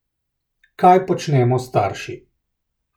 Kaj počnemo starši?